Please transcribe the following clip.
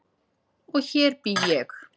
Og hér bý ég!